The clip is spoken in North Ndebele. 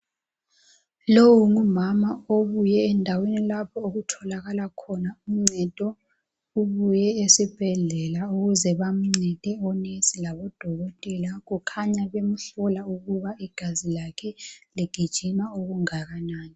Lowu ngumama obuye endaweni lapho okutholakala khona uncedo ubuye esibhedlela ukuze bamncede onesi labo dokotela kukhanya bemhlola ukuba igazi lakhe ligijima okungakanani